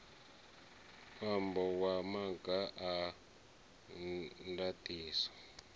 ṅwambo wa maga a ndaṱiso